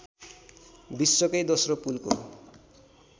विश्वकै दोस्रो पुलको